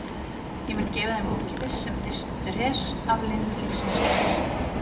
Ég mun gefa þeim ókeypis, sem þyrstur er, af lind lífsins vatns.